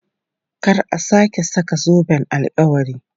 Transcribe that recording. Kar a sake saka zoben alkawari!